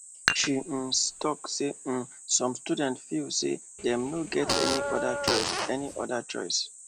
she um talk say um some students feel say dem no get any other choice any other choice